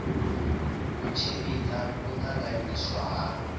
u tshimbidza u tanganyiswa ha